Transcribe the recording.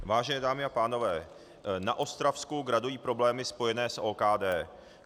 Vážené dámy a pánové, na Ostravsku gradují problémy spojené s OKD.